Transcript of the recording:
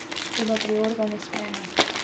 Toda prior ga ne sprejme.